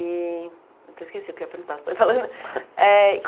E até esqueci o que eu ia perguntar. falando eh